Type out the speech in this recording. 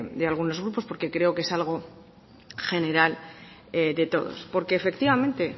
de algunos grupos porque creo que es algo general de todos porque efectivamente